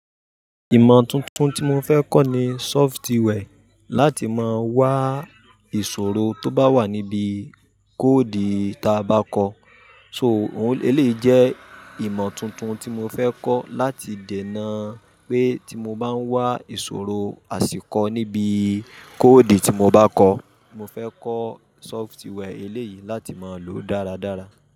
Ìmọ̀ tuntun tí mo fẹ́ kọ́ ni software, láti máa wá ìṣòro tó bá wà níbi code ta bá kọ. So òun eléyìí jẹ́ ìmọ̀ tuntun tí mo fẹ́ kọ́ láti dènà pé tí mo bá ń wá ìṣòro àsìkọ níbi code tí mo bá kọ. Mofẹ́ kọ́ software elèyìí láti máa lòó dáradára.